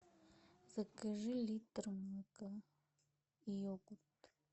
закажи литр молока и йогурт